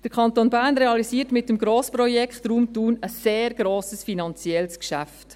Der Kanton Bern realisiert mit dem Grossprojekt Raum Thun ein sehr grosses finanzielles Geschäft.